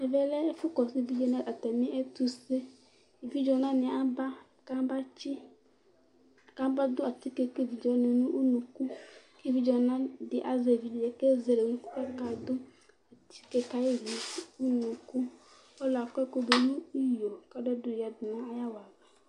E, Ɛvɛlɛ ɛfʋ kɔsu evidze waŋi atami ɛtuse Evidze ɔna ni aba kaba tsi, kaba ɖu atike kʋ evidze waŋi ŋu ʋnʋku Kʋ evidze ɔna ɖi azɛ evidze kʋ ezele ʋnʋku kʋ aɖu atike kayi ŋu ʋnʋku Ɔluɛɖi akɔ ɛkʋɖu ŋu iyo kʋ ɔlɔɖi ayɔ yaɖu ŋu awala